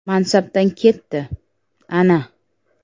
Mansabdan ketdi: - Ana!